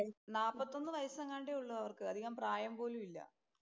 നാപ്പത്തൊന്ന് വയസെങ്ങാണ്ടെ ഉള്ളൂ അവർക്ക്. അധികം പ്രായം പോലും ഇല്ല.